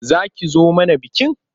Za ki zo mana bikin?